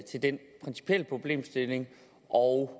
til den principielle problemstilling og